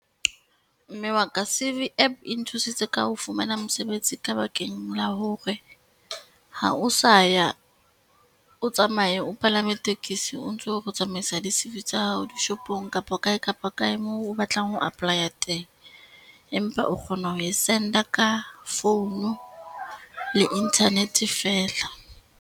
Mme wa ka CV app e nthusitse ka ho fumana mosebetsi ka bakeng la hore ha o sa ya, o tsamaye o palame tekesi o ntso o re o tsamaisa di-C_V tsa hao di shopong kapa kae kapa kae moo o batlang ho apply-a teng, empa o kgona ho e send-a ka phone le Internet fela.